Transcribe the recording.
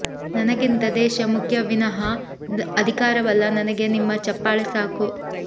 ನನಗಿಂತ ದೇಶ ಮುಖ್ಯ ವಿನಹ ಅಧಿಕಾರವಲ್ಲಾ ನನಗೆ ನಿಮ್ಮ ಚಪ್ಪಾಳೆ ಸಾಕು